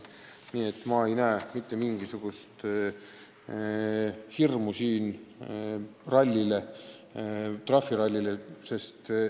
Nii et ma ei näe mitte mingisugust põhjust trahvirallit karta.